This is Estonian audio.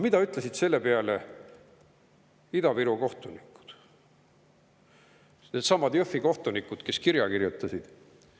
Mida ütlesid selle peale Ida-Viru kohtunikud, needsamad Jõhvi kohtunikud, kes kirja kirjutasid?